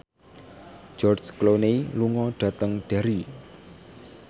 George Clooney lunga dhateng Derry